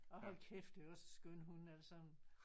Og hold kæft det er også en skøn hund altså